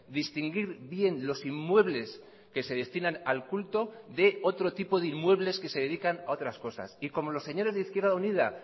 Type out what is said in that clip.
distinguir bien los inmuebles que se destinan al culto de otro tipo de inmuebles que se dedican a otras cosas y como los señores de izquierda unida